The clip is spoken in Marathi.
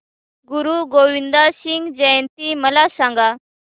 गुरु गोविंद सिंग जयंती मला सांगा